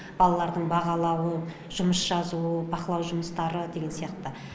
балалардың бағалауы жұмыс жазуы бақылау жұмыстары деген сияқты